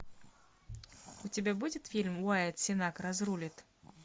у тебя будет фильм уайат сенак разрулит